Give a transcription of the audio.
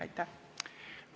Aitäh!